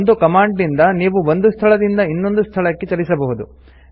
ಒಂದು ಕಮಾಂಡ್ ನಿಂದ ನೀವು ಒಂದು ಸ್ಥಳದಿಂದ ಇನ್ನೊಂದು ಸ್ಥಳಕ್ಕೆ ಚಲಿಸಬಹುದು